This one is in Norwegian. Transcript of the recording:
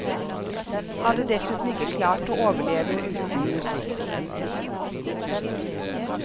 Hadde dessuten ikke klart å overleve uten musikk.